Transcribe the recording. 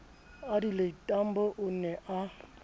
adelaide tambo o ne a